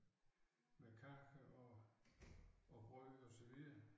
Med kager og og brød og så videre